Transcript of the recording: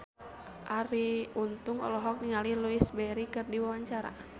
Arie Untung olohok ningali Louise Brealey keur diwawancara